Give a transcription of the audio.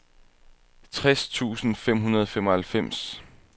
tres tusind fem hundrede og femoghalvfems